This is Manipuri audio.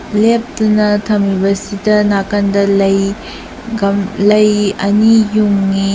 ꯂꯦꯞꯇꯨꯅ ꯊꯝꯂꯤꯕꯁꯤꯗ ꯅꯥꯀꯟꯗ ꯂꯩ ꯒꯝ ꯂꯩ ꯑꯅꯤ ꯌꯨꯡꯏ꯫